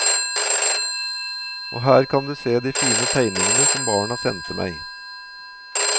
Og her kan du se de fine tegningene som barna sendte meg.